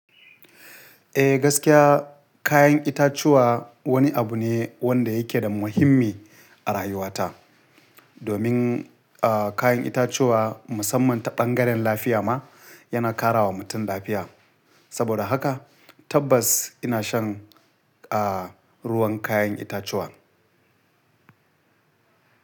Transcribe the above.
Eh gaskiya kayan itatuwa wani abu ne wanda yake da muhimmi a rayuwata. Domin, ah, kayan itatuwa musamman ta ɓan garan lafiya ma yana ƙara wa mutum lafiya. Saboda haka tabbas ina shan, ah, ruwan kayan itatuwa.